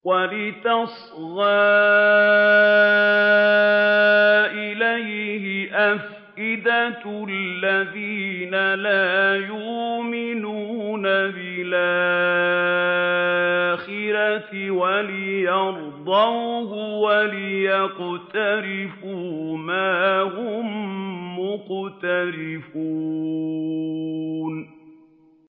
وَلِتَصْغَىٰ إِلَيْهِ أَفْئِدَةُ الَّذِينَ لَا يُؤْمِنُونَ بِالْآخِرَةِ وَلِيَرْضَوْهُ وَلِيَقْتَرِفُوا مَا هُم مُّقْتَرِفُونَ